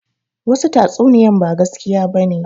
Wasu tatsuniyan ba gaskiya bane